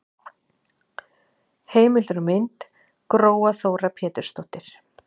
Heimildir og mynd: Gróa Þóra Pétursdóttir.